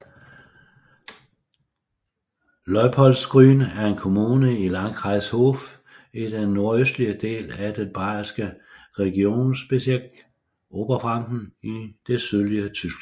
Leupoldsgrün er en kommune i Landkreis Hof i den nordøstlige del af den bayerske regierungsbezirk Oberfranken i det sydlige Tyskland